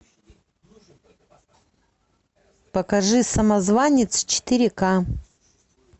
покажи самозванец четыре ка